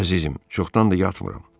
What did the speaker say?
Əzizim, çoxdandır yatmıram.